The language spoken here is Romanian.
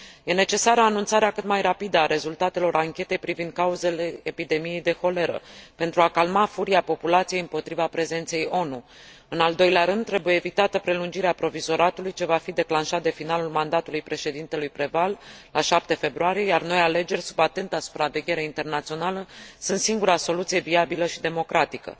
Este necesară anunțarea cât mai rapidă a rezultatelor anchetei privind cauzele epidemiei de holeră, pentru a calma furia populației împotriva prezenței ONU. În al doilea rând, trebuie evitată prelungirea provizoratului ce va fi declanșat de finalul mandatului președintelui Préval, la 7 februarie, iar noi alegeri, sub atenta supraveghere internațională, sunt singura soluție viabilă și democratică.